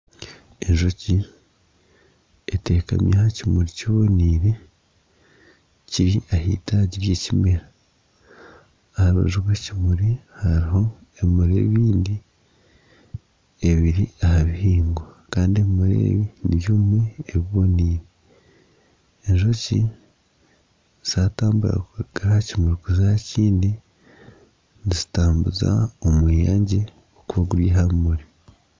Enjoki eteekami aha kimuri kibonaire eri ah'itaagi ry'ekimera aha rubaju rw'ekimuri hariho ebimuri ebindi ebiri aha bihingwa kandi ebimuri ebi nibimwe ebibonaire. Enjoki zatambura kuruga aha kimuri kuza aha kindi nizitambuza omweyangye kugwiha aha bimuri.